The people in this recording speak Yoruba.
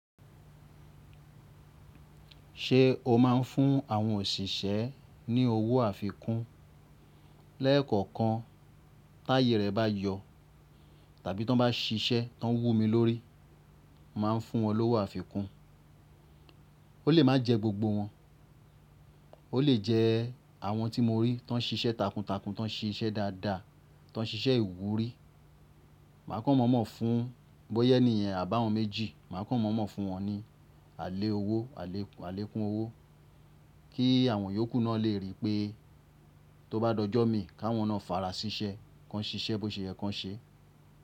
Ṣé o máa ń fún àwọn òṣìṣẹ́ ní owó àfikún? Lẹ́ẹ̀kọ̀kan táyè rẹ̀ bá yọ tàbí tí wọ́n bá ṣiṣẹ́, tí wọ́n wú mi lórí, mà á fún wọn lówó àfikún. Ó lè má jẹ gbogbo wọn, ó lè jẹ àwọn tí mo rí tí wọ́n ń ṣiṣẹ́ takuntakun, tí wọ́n ń ṣiṣẹ́ dáadáa, tí wọ́n ń ṣiṣẹ́ ìwúrí. Mà á kàn mọ̀ọ́mọ̀ fún bọ́yẹ́ ènìyàn àbá wọn méjì, mà á kàn mọ̀ọ́mọ̀ fún wọn ní àlẹ́ owó, àlékún owó kí àwọn yòókù náà lè ríi pé tó bá dojọ́ mi káwọn náà fara ṣiṣẹ́, kí wọ́n ṣiṣẹ́ bó ṣe yẹ kí wọ́n ṣe.